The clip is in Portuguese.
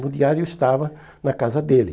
o diário estava na casa dele.